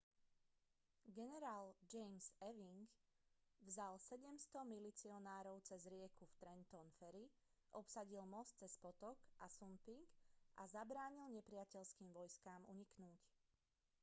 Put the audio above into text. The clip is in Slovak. generál james ewing vzal 700 milicionárov cez rieku v trenton ferry obsadil most cez potok assunpink a zabránil nepriateľským vojskám uniknúť